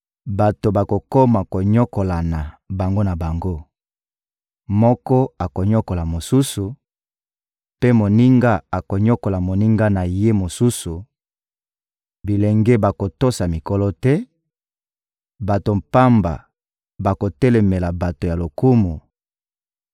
Bato bakokoma konyokolana bango na bango: moko akonyokola mosusu, mpe moninga akonyokola moninga na ye mosusu; bilenge bakotosa mikolo te, bato pamba bakotelemela bato ya lokumu;